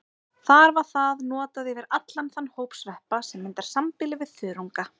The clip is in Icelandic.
Þar var það notað yfir allan þann hóp sveppa sem myndar sambýli við þörunga.